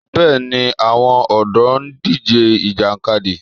Bẹ́ẹ̀ ni, àwọn ọ̀dọ́ ń díje Ìjàkadì